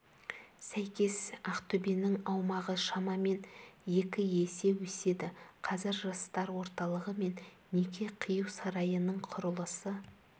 сәйкес ақтөбенің аумағы шамамен екі есе өседі қазір жастар орталығы мен неке қию сарайының құрылысы